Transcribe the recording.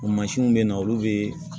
O mansinw bɛ na olu bɛ